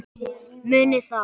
Munið það.